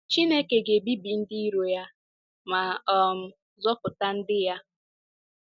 Chineke ga-ebibi ndị iro ya ma um zọpụta ndị ya.